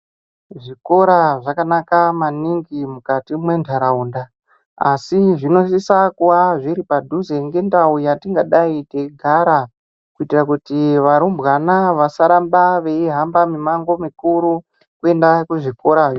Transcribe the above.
Zvikora zvakanaka maningi mukati mwentaraunda asi zvinosisa kuva zviri padhuze ngendau yatingadai teigara kuitira kuti varumbwana vasaramba veihamba mimango mikuru kuenda kuzvikora.